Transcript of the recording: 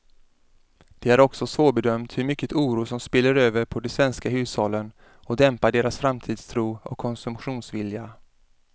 Det är också svårbedömt hur mycket oro som spiller över på de svenska hushållen och dämpar deras framtidstro och konsumtionsvilja.